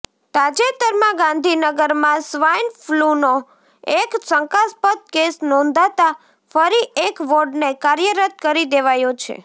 તાજેતરમાં ગાંધીનગરમાં સ્વાઇન ફલૂનો એક શંકાસ્પદ કેસ નોંધાતાં ફરી એક વોર્ડને કાર્યરત કરી દેવાયો છે